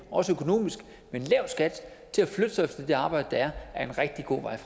også økonomisk med en lav skat til at flytte sig efter det arbejde der er er en rigtig god vej